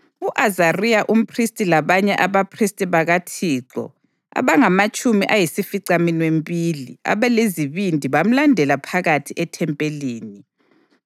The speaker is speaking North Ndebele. U-Azariya umphristi labanye abaphristi bakaThixo abangamatshumi ayisificaminwembili abalezibindi bamlandela phakathi ethempelini.